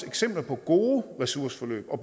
eksempler på gode ressourceforløb og